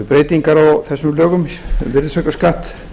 breytingar á þessum lögum um virðisaukaskatt